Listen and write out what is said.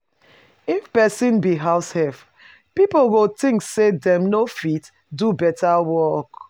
If persin be househelp pipo go think say dem no fit do better work